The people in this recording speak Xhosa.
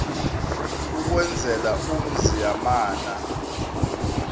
ukwenzela umzi yamana